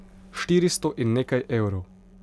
Štiristo in nekaj evrov.